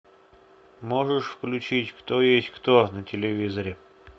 можешь включить кто есть кто на телевизоре